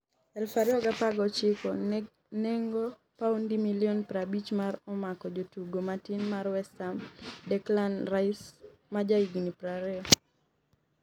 2019 nengo paundi milion 50 mar omak jatugo matin mar West Ham Declan Rice, ma ja higni 20.